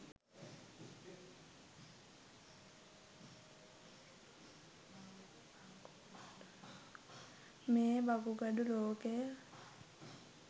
මේ වකුගඩු රෝගය